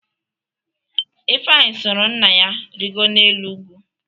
Ifeanyị soro nna ya rịgoro n’elu ugwu.